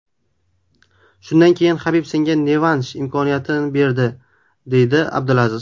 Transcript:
Shundan keyin Habib senga revansh imkoniyatini beradi”, deydi Abdulaziz.